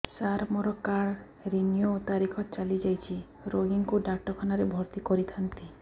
ସାର ମୋର card renew ତାରିଖ ଚାଲି ଯାଇଛି ରୋଗୀକୁ ଡାକ୍ତରଖାନା ରେ ଭର୍ତି କରିଥାନ୍ତି